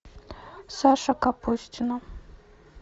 саша капустина